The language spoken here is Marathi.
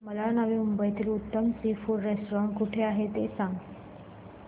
मला नवी मुंबईतलं उत्तम सी फूड रेस्टोरंट कुठे आहे ते सांग